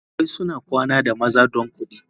Karuwai suna kwana da maza don kudi.